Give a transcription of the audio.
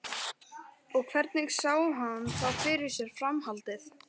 Og hvernig sé hann þá fyrir sér framhaldið?